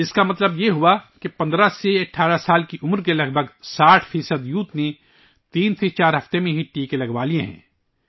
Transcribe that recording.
اس کا مطلب ہے کہ 15 سے 18 سال کی عمر کے تقریباً 60 فیصد نوجوانوں کو تین سے چار ہفتے میں ہی ٹیکے لگائے گئے ہیں